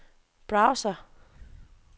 browser